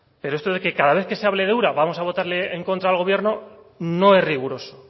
pero esto de que cada vez que se hable de ura vamos a votarle en contra al gobierno no es riguroso